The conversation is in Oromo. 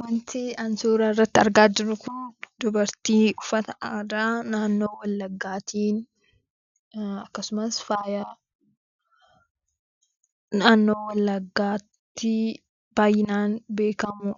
Wanti ani suuraa irratti argaa jiru kun dubartii uffata aadaa naannoo wallagaatin, akkasumas faaya naannoo wallaggatti baay'inaan beekamu